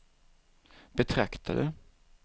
betraktade